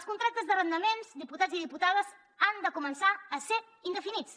els contractes d’arrendaments diputats i diputades han de començar a ser indefinits